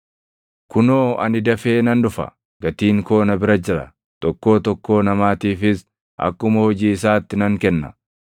“Kunoo, ani dafee nan dhufa! Gatiin koo na bira jira; tokkoo tokkoo namaatiifis akkuma hojii isaatti nan kenna.